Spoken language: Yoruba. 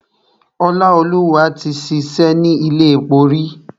Ọláolúwa ti ṣìṣẹ́ ni ilé epo rí.